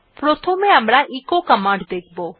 প্রথমে আমরা echo command দেখব